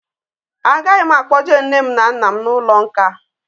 Agaghị m akpọje nne m na nna m n'ụlọ nkà